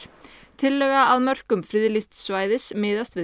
tillaga að mörkum friðlýsts svæðis miðast við